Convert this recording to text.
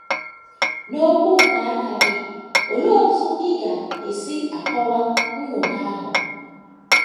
N’okwu nke aka gị, olee otú ị ga - esi akọwa nnwogha ahụ?